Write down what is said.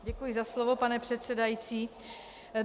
Děkuji za slovo, pane předsedající.